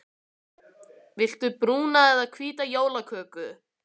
Viltu brúna eða hvíta jólaköku?